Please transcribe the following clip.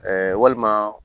walima